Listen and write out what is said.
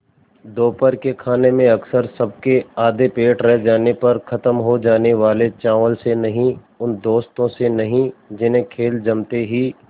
दोपहर के खाने में अक्सर सबके आधे पेट रह जाने पर ख़त्म हो जाने वाले चावल से नहीं उन दोस्तों से नहीं जिन्हें खेल जमते ही